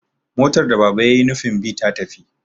motar da Baba ya yi nufin bi ta tafi